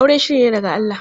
Aure shiri ne daga Allah.